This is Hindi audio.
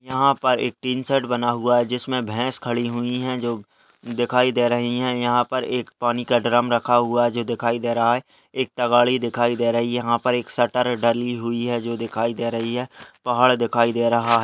यहाँ पर एक टीन शेड बना हुआ है जिसमें भैंस खड़ी हुई हैं जो दिखाई दे रही हैं यहाँ पर एक पानी का ड्रम रखा हुआ है जो दिखाई दे रहा है एक दिखाई दे रही है यहाँ पर एक शटर डली हुई है जो दिखाई दे रही है पहाड़ दिखाई दे रहा है।